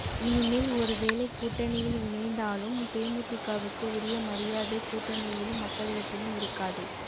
இனிமேல் ஒருவேளை கூட்டணியில் இணைந்தாலும் தேமுதிகவுக்கு உரிய மரியாதை கூட்டணியிலும் மக்களிடத்திலும் இருக்காது